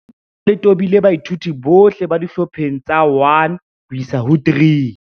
Lenaneo le tobile baithuti bohle ba dihlopheng tsa 1 ho isa 3.